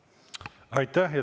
Aitäh!